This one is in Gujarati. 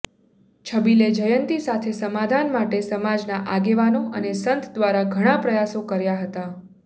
છબીલે જયંતી સાથે સમાધાન માટે સમાજના આગેવાનો અને સંત દ્વારા ઘણા પ્રયાસો કર્યા હતા